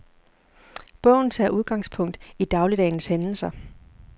Bogen tager udgangspunkt i dagligdagens hændelser.